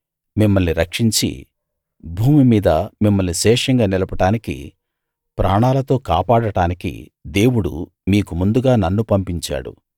మిమ్మల్ని రక్షించి భూమి మీద మిమ్మల్ని శేషంగా నిలపడానికీ ప్రాణాలతో కాపాడడానికీ దేవుడు మీకు ముందుగా నన్ను పంపించాడు